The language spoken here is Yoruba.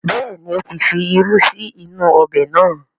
Bẹ́ẹ̀ni, ó ti fi irú sí inú ọbẹ̀ náà